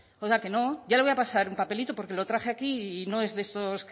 oiga que no ya le voy a pasar un papelito porque lo traje aquí y no es de esos